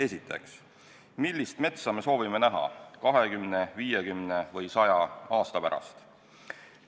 Esiteks, millist metsa me soovime näha 20, 50 või 100 aasta pärast?